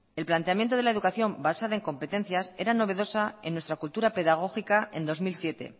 el planteamiento de la educación basada en competencias era novedosa en nuestra cultura pedagógica en dos mil siete